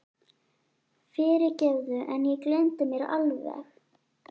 Fyrirgefðu, en ég gleymdi mér alveg.